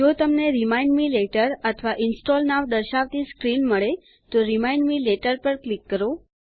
જો તમને remind me later અથવા ઇન્સ્ટોલ નોવ દર્શાવતી સ્ક્રીન મળે તો રિમાઇન્ડ મે લેટર પર ક્લિક કરો